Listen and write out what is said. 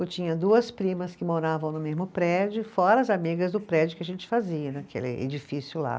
Eu tinha duas primas que moravam no mesmo prédio, fora as amigas do prédio que a gente fazia, naquele edifício lá.